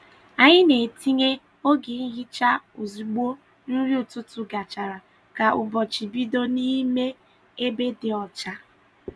Anyị na-etinye oge nhicha ozugbo nri ụtụtụ gachara ka ụbọchị bido n’ime ebe dị ọcha.